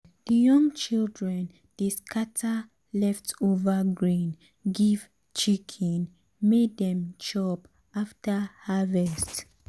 the young children dey scatter um leftover grain give um chicken um may dey chop after harvest.